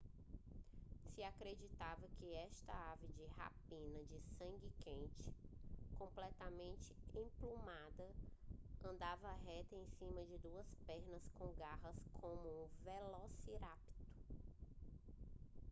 se acreditava que esta ave de rapina de sangue quente completamente emplumada andava reta em cima de duas pernas com garras como um velociraptor